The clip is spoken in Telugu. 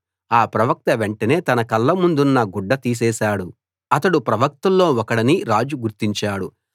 ఆ ప్రవక్త వెంటనే తన కళ్ళమీదున్న గుడ్డ తీసేశాడు అతడు ప్రవక్తల్లో ఒకడని రాజు గుర్తించాడు